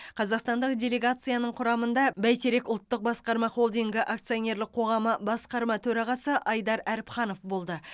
қазақстандық делегацияның құрамында бәйтерек ұлттық басқарма холдингі акционерлік қоғамы басқарма төрағасы айдар әріпханов болды